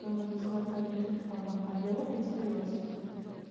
а ему там сказали по этому телефону а диалог он остаётся